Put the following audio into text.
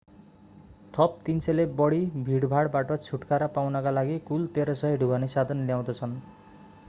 थप 300 ले बढि भीडभाडबाट छुटकारा पाउनका लागि कुल 1300 ढुवानी साधन ल्याउँदछ